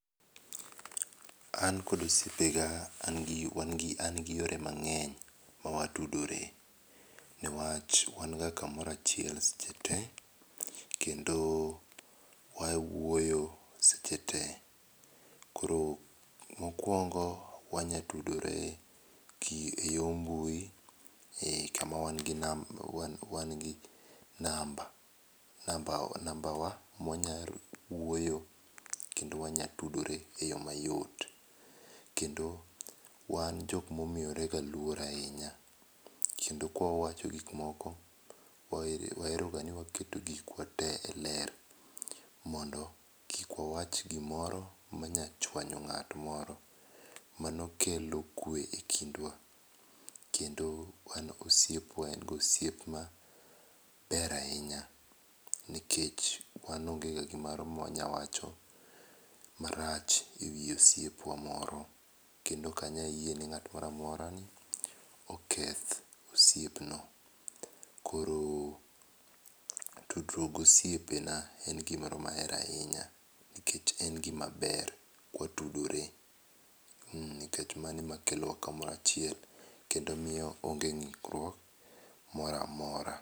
An kod osiepa ga an gi yore mang'eny ma watudore ne wach wan ga ka moro achiel seche te kendo wa wuoyo seche te .Koro mokuongo wanya tudore e yo mbui ka ma wan gi namba, namba wa ma wanya wuoyo kendo wanya tudore eyo ma yot, kendo wan jo ma omiyore ga luoro ahinya, kendo ka wawacho gik moko ma wa hera ga ni waketo gik wa te e ler mondo kik wa wach gi moro ma nya chuonyo ng'at moro mano kelo kwe e kitwa kendo wan osiepwa en ga osiep ma ber ahinya nikech wan onge ga gi moro ma wanya wacho ma rach e wii osiepwa moro kendo ok anya yie ni ng'at moro amora oketh osiep no .Koro tudruok gi osiepa na en gi moro ma ahero ahinya nikech en gi ma ber watudore ,nikech ma no e ma kelo wa ka moro achiel kendo miyo wa onge ngikruok moro amora.